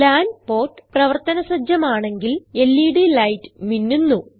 LAN port പ്രവർത്തന സജ്ജമാണെങ്കിൽ LED light മിന്നുന്നു